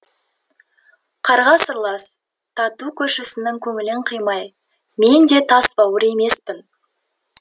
қарға сырлас тату көршісінің көңілін қимай мен де тасбауыр емеспін